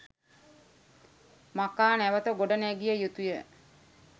මකා නැවත ගොඩ නැගිය යුතුය